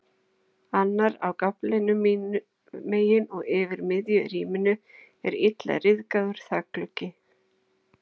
Annar er á gaflinum mín megin og yfir miðju rýminu er illa ryðgaður þakgluggi.